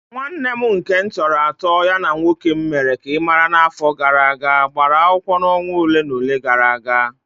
Nwanne m nke m tọrọ atọ ya na nwoke m mere ka ị mara n'afọ gara aga gbara akwụkwọ na onwa olé na olé gara aga.